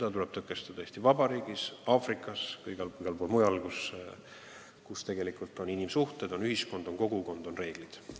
Seda tuleb tõkestada Eesti Vabariigis, Aafrikas ja igal pool mujal, kus valitsevad inimsuhted, kus on ühiskond, on kogukond, on reeglid.